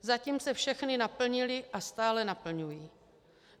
Zatím se všechny naplnily a stále naplňují.